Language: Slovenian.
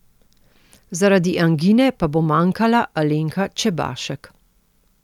Zaradi angine pa bo manjkala Alenka Čebašek.